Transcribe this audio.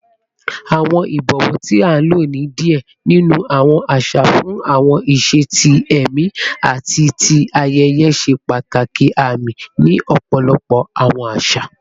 Awọn ibọwọ, ti a lo ni diẹ ninu awọn aṣa fun awọn iṣe ti ẹmi ati ti ayẹyẹ, ṣe pataki aami ni ọpọlọpọ awọn aṣa.